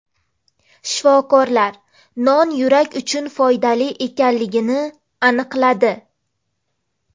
Shifokorlar non yurak uchun foydali ekanligini aniqladi.